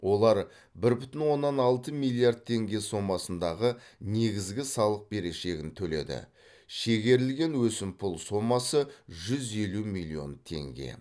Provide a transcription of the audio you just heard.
олар бір бүтін оннан алты миллиард теңге сомасындағы негізгі салық берешегін төледі шегерілген өсімпұл сомасы жүз елу миллион теңге